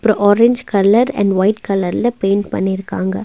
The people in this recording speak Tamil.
ஒரு ஆரஞ் கலர் அண்ட் ஒய்ட் கலர்ல பெயிண்ட் பண்ணிருக்காங்க.